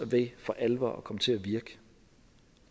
ved for alvor at komme til at virke